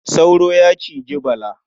Sauro ya ciji Bala.